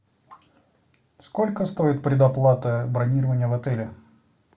сколько стоит предоплата бронирования в отеле